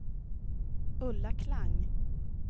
Ulla Klang